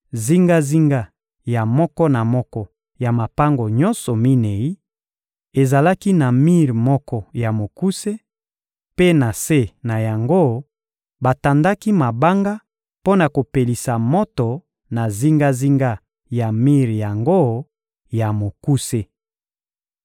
Zingazinga ya moko na moko ya mapango nyonso minei, ezalaki na mir moko ya mokuse; mpe na se na yango, batandaki mabanga mpo na kopelisa moto na zingazinga ya mir yango ya mokuse.